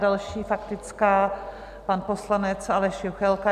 Další faktická, pan poslanec Aleš Juchelka.